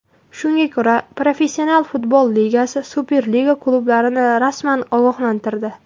Shunga ko‘ra Professional futbol ligasi Superliga klublarini rasman ogohlantirdi.